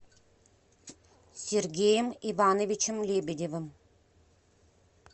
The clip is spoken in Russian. сергеем ивановичем лебедевым